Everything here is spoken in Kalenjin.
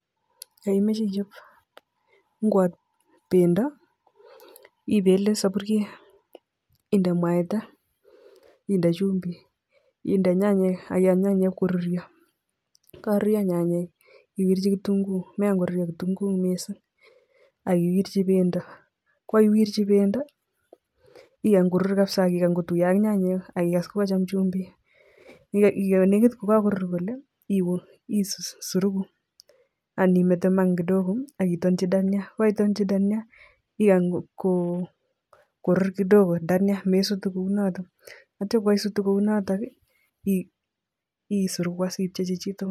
Yoimache ichop ngwot pendo ,ipele sopuriet, inde mwaita, inde chumbi, inde nyanyek akikany nyanyek koruryo, kokakoruryo nyanyek iwirchi kitungu mekany koruryo kitungu mising akiwirchi pendo ko kukaiwirchi pendo ikany korur kapisa akikany kotuiyo ak nyanyek, akikas ngokachom chumbik yolekit kakorur kole iur isuruku animeten eng mat kidogo akitonchi Dania kokaitonji Dania ikany ko rur kidogo Dania mesutu kounoto yeityo kaisutu isuruku ipchechi chitugul